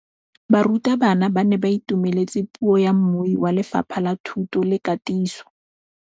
Barutabana ba ne ba itumeletse puô ya mmui wa Lefapha la Thuto le Katiso.